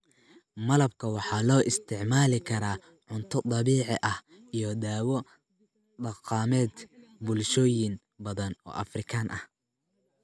Malabka waxaa loo isticmaali karaa cunto dabiici ah iyo dawo dhaqameed bulshooyin badan oo Afrikaan ah.